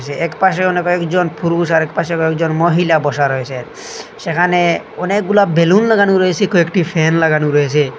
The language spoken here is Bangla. যে এক পাশে অনেক একজন পুরুষ আরেক পাশে একজন মহিলা বসা রয়েছে সেখানে অনেকগুলা বেলুন লাগানো রয়েসে কয়েকটি ফ্যান লাগানো রয়েছে।